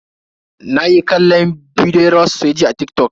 Nayi kallon bidiyoyin rawa sosai jiya a TikTok.